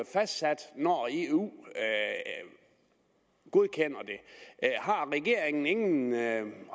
fastsat når eu godkender det har regeringen ingen